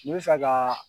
N bɛ fɛ kaa